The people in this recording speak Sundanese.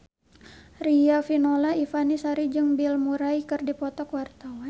Riafinola Ifani Sari jeung Bill Murray keur dipoto ku wartawan